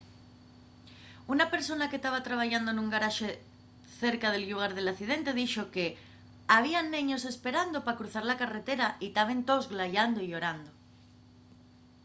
una persona que taba trabayando nun garaxe cerca del llugar del accidente dixo que había neños esperando pa cruzar la carretera y taben toos glayando y llorando